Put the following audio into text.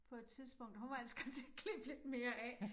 På et tidspunkt og hun var skal jeg ikke klippe lidt mere af